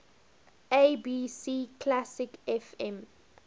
abc classic fm